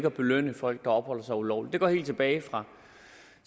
at belønne folk der opholder sig ulovligt det går helt tilbage